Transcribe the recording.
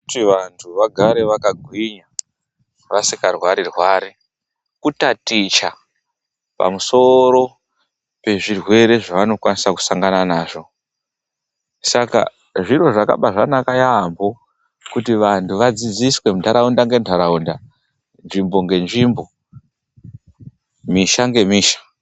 Kuti vantu vagare vakagwinya vasikarwari rwari kutaticha pamusoro pezvirwere zvavanokwanisa kusangana nazvo. Saka zviro zvakaba zvakanaka yaambo kuti vandu vadzidziswe ndaraunda ngedaraunda nzvimbo ngenzvimbo, misha ngemisha.